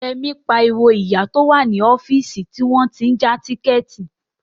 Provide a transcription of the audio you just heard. Yẹmí ń pariwo mọ ìyá tó wà ní ọ́fíìsì tí wọ́n tí ń ja tíkẹ̀ẹ̀tì